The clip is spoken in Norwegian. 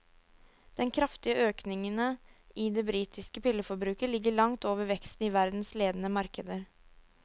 Den kraftige økningene i det britiske pilleforbruket ligger langt over veksten i verdens ledende markeder.